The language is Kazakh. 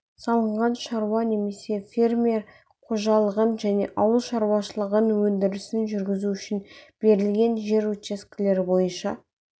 салынған шаруа немесе фермер қожалығын және ауыл шаруашылығы өндірісін жүргізу үшін берілген жер учаскелері бойынша